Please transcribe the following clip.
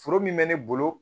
Foro min bɛ ne bolo